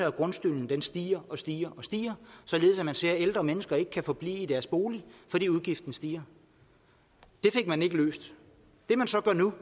at grundskylden stiger og stiger således at man ser at ældre mennesker ikke kan forblive i deres bolig fordi udgiften stiger det fik man ikke løst det man så gør nu